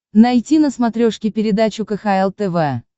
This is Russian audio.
найти на смотрешке передачу кхл тв